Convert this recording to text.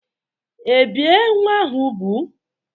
Ebìe nwa ahụ úgwù?